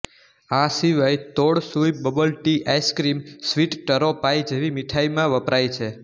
આ સિવાય તોઙ સુઈ bubble tea ice cream sweet taro pie જેવી મીઠાઈમાં વપરાય છે